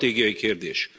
Ez stratégiai kérdés.